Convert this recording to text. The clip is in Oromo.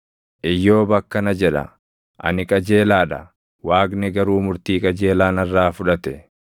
“Iyyoob akkana jedha; ‘Ani qajeelaa dha; Waaqni garuu murtii qajeelaa narraa fudhate.